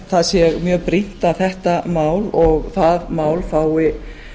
það sé mjög brýnt að þetta mál og það mál fái